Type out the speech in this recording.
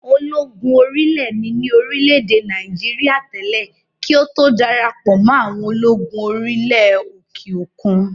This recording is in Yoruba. Ológun orí ilẹ̀ ni ní orílẹ̀-èdè Nàìjíríà tẹ́lẹ̀ kí ó tó darapọ̀ mọ́ àwọn ológun orí ilẹ̀ òkè òkun